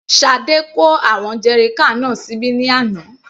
Sade kó àwọn jerrycan náà síbí ní àná.